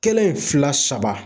Kelen, fila, saba.